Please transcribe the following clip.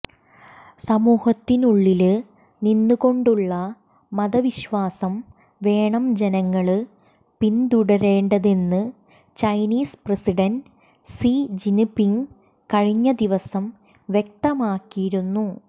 സമൂഹത്തിനുള്ളില് നിന്നുകൊണ്ടുള്ള മതവിശ്വാസം വേണം ജനങ്ങള് പിന്തുടരേണ്ടതെന്ന് ചൈനീസ് പ്രസിഡന്റ് സി ജിന്പിങ് കഴിഞ്ഞ ദിവസം വ്യക്തമാക്കിയിരുന്നു